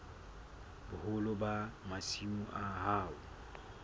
boholo ba masimo a hao